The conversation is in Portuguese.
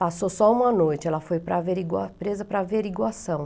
Passou só uma noite, ela foi para averigua, presa para averiguação.